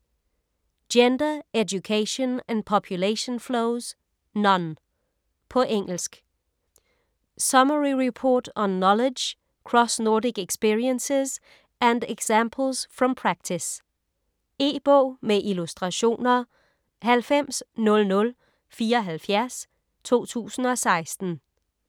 Gender, Education and Population Flows: none På engelsk. Summary report on knowledge, cross-Nordic experiences and examples from practice. E-bog med illustrationer 900074 2016.